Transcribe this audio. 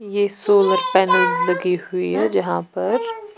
ये solar panels लगी हुई हैजहां पर।